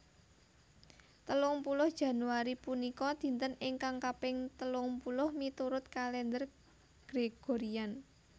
Telung puluh Januari punika dinten ingkang kaping telung puluh miturut Kalèndher Gregorian